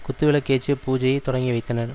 குத்துவிளக்கேற்றி பூஜையை தொடங்கிவைத்தனர்